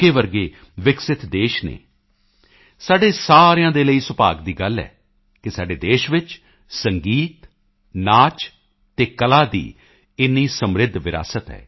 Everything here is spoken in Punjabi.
ਜਿਹੇ ਵਿਕਸਿਤ ਦੇਸ਼ ਹਨ ਸਾਡੇ ਸਾਰਿਆਂ ਦੇ ਲਈ ਸੁਭਾਗ ਦੀ ਗੱਲ ਹੈ ਕਿ ਸਾਡੇ ਦੇਸ਼ ਵਿੱਚ ਸੰਗੀਤ ਨਾਚ ਅਤੇ ਕਲਾ ਦੀ ਇੰਨੀ ਸਮ੍ਰਿੱਧ ਵਿਰਾਸਤ ਹੈ